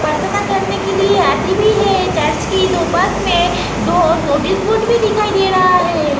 परथमा करने के लिए आती भी है एक चर्च की दो पास में दो नोटिस बोर्ड भी दिखाई दे रहा है।